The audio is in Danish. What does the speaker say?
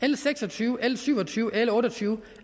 l seks og tyve l syv og tyve og l otte og tyve